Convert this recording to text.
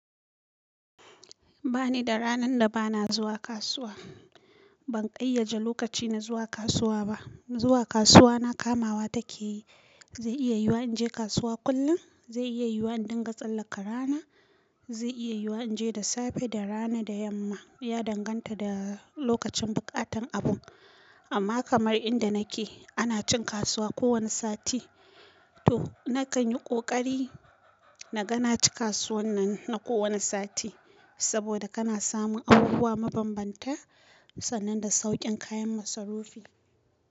Ba ni da ranar da ba na zuwa kasuwa. Ban ƙayyade lokaci na zuwa kasuwa ba zuwa kasuwa na ka ma wa take yi zai iya yiwuwa in je kasuwa kullin zai iya yiwuwa in dinga tsallaka rana zai iya yiwuwa in je da safe da rana da yamma ya danganta da lokacin buƙatan abun amma kamar inda nake ana cin kasuwa kowane sati to nakan yi ƙoƙari na ga na ci kasuwan nan na kowane sati saboda kana samun abubuwa mabam banta sannan da sauƙin kayan masarufi.